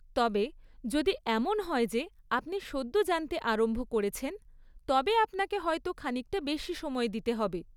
তবে, যদি এমন হয় যে আপনি সদ্য জানতে আরম্ভ করছেন, তবে আপনাকে হয়তো খানিকটা বেশি সময় দিতে হবে।